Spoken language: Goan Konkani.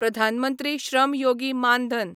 प्रधान मंत्री श्रम योगी मान धन